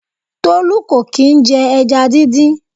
Tolu kò kì i jẹ ẹja díndín.